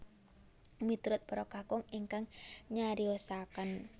Miturut para kakung engkang nyariosaken